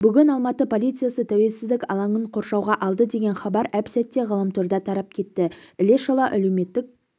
бүгін алматы полициясы тәуелсіздік алаңын қоршауға алды деген хабар әп-сәтте ғаламтарда тарап кетті іле шала әлеуметтік